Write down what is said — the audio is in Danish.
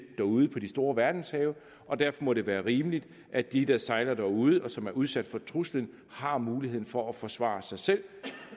derude på de store verdenshave og derfor må det være rimeligt at de der sejler derude og som er udsat for truslen har mulighed for at forsvare sig selv